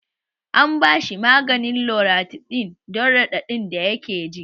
An bashi maganin loratidin dan raɗaɗin da yake ji